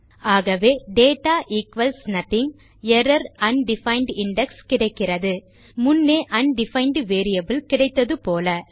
ஆகவே data equals nothing error undefined index கிடைக்கிறது முன்னே அன்டிஃபைண்ட் வேரியபிள் கிடைத்தது போல